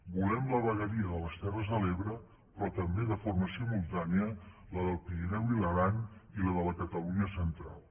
volem la vegueria de les terres de l’ebre però també de forma simultània la del pirineu i l’aran i la de la catalunya central